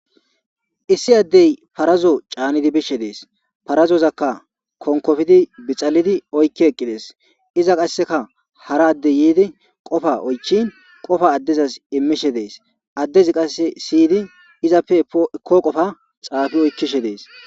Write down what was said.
Issi addey farazo caanidi bishe dees farazozakka konkofidi bixalidi oykki eqqides iza qasseka hara addey yiidi qofa oychin qofa addezaz immishe dees addezi qasse siydi izappe eko qofa xaafi oykkishe dees